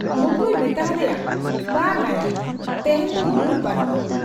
ᱢᱚᱠᱨᱩᱭ ᱢᱮᱛᱟ ᱦᱟᱫᱮᱭᱟ, 'ᱵᱟᱝ ᱟ ᱭᱟ, ᱛᱮᱦᱮᱧ ᱫᱚ ᱢᱩᱰ ᱵᱟᱹᱱᱩᱜ ᱟ ᱾